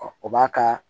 o b'a ka